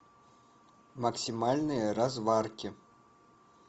максимальные разварки